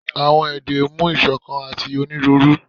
awọn ede mu isokan ati oniruuru